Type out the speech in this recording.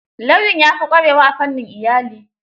Lauyan ya fi ƙwarewa a fannin iyali.